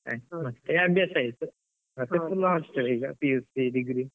ಮತ್ತೆ ಅಭ್ಯಾಸ ಆಯ್ತು, ಮತ್ತೆ ಪುನ hostel ಈಗ PUC degree .